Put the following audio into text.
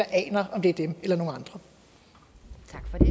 aner om det er dem eller